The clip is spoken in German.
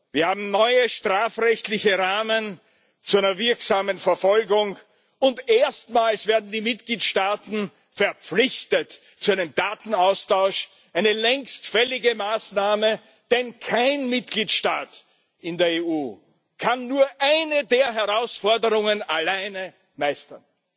Wir haben neue strafrechtliche Rahmen zu einer wirksamen Verfolgung, und erstmals werden die Mitgliedstaaten zu einem Datenaustausch verpflichtet eine längst fällige Maßnahme, denn kein Mitgliedstaat in der EU kann nur eine der Herausforderungen alleine meistern.